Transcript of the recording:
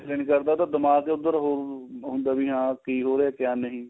ਦਿਲ ਏ ਨੀ ਕਰਦਾ ਉਹਦਾ ਦਿਮਾਗ਼ ਉੱਧਰ ਹੁੰਦਾ ਏ ਵੀ ਹਾਂ ਕੀ ਹੋ ਰਿਹਾ ਕਿਆ ਨਹੀਂ